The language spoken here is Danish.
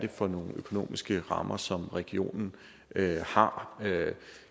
for nogle økonomiske rammer som regionen har